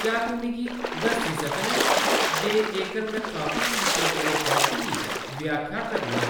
क्या तूं मिगी दस्सी सकना ऐं जे जेकर में कापी कीते गेदे टैक्स्ट दी व्याख्या करनां